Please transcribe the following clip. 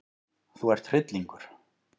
Þú ert hryllingur!